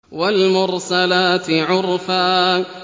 وَالْمُرْسَلَاتِ عُرْفًا